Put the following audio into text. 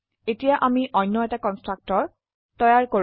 এতিয়া আমি অনয় এটাকন্সট্ৰকটৰতৈয়াৰ কৰো